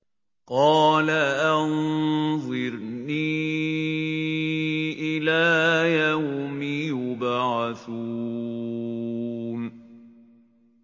قَالَ أَنظِرْنِي إِلَىٰ يَوْمِ يُبْعَثُونَ